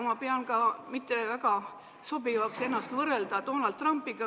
Ma pean mittesobivaks, et võrreldakse ennast Donald Trumpiga.